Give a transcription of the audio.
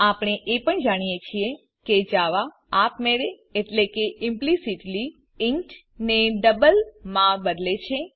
આપણે એ પણ જાણીએ છીએ કે જાવા આપમેળે એટલે કે ઈમ્પલીસીટલી ઇન્ટ ને ડબલ માં બદલે છે